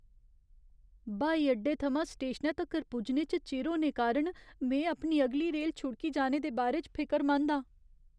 हवाई अड्डे थमां स्टेशनै तक्कर पुज्जने च चिर होने कारण में अपनी अगली रेल छुड़की जाने दे बारे च फिकरमंद आं।